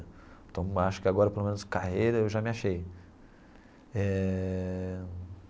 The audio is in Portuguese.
Então, acho que agora, pelo menos carreira, eu já me achei eh.